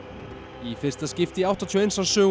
í fyrsta skipti í áttatíu og eins árs sögu